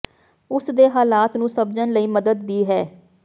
ਉੱਥੇ ਦੇ ਹਾਲਾਤ ਨੂੰ ਸਮਝਣ ਲਈ ਮਦਦ ਦੀ ਹੈ